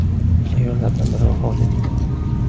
Ayollardan biri vafot etdi.